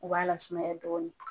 U b'a lasumaya dɔɔnin